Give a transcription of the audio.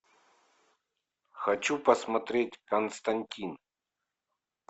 хочу посмотреть константин